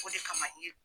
O de kama i ye